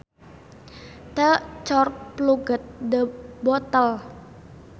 The cork plugged the bottle